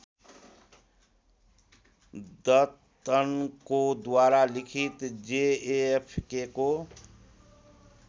दत्तनकोद्वारा लिखित जेएफकेको